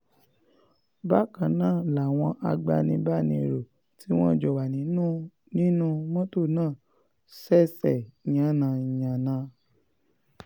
bákan náà làwọn agbanibánirò tí wọ́n jọ wà nínú nínú mọ́tò náà ṣẹ̀ṣẹ̀ yánnayànna